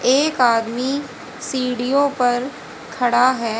एक आदमी सीढ़ियो पर खड़ा है।